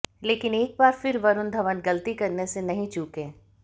लेकिन एक बार फिर वरूण धवन गलती करने से नहीं चुके